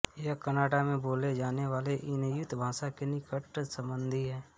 यह कनाडा में बोले जाने वाले इन्युत भाषा की निकट संबंधी है